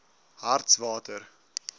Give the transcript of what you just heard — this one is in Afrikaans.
hartswater